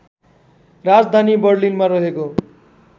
राजधानी बर्लिनमा रहेको